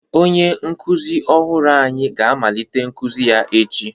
Onye nkuzi ọhụrụ anyị ga-amalitekwa nkuzi ya echi.